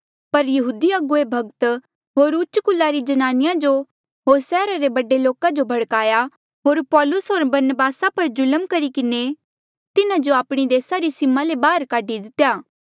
पर यहूदी अगुवे भक्त होर उच्च कुला री ज्नानिया जो होर सैहरा रे बडे लोका जो भड़काया होर पौलुस होर बरनबासा पर जुल्म करी किन्हें तिन्हा जो आपणी देसा री सीमा ले बाहर काढी दितेया